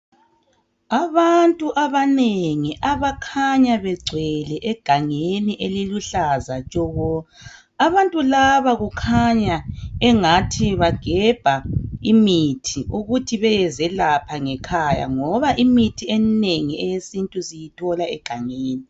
Abantu abanengi abakhanya begcwele egangeni eliluhlaza tshoko, abantu laba kukhanya engathi bagebha imithi ukuthi beyezelapha ngekhaya ngoba imithi eminengi eyesintu siyithola egangeni.